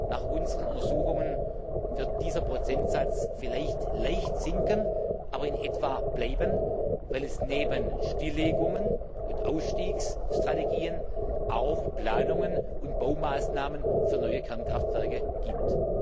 Nach unseren Untersuchungen wird dieser Prozentsatz vielleicht leicht sinken, aber in etwa bleiben, weil es neben Stilllegungen und Ausstiegsstrategien auch Planungen und Baumaßnahmen für neue Kernkraftwerke gibt.